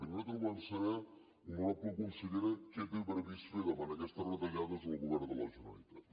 i nosaltres volem saber honorable consellera què té previst fer davant d’aquestes retallades el govern de la generalitat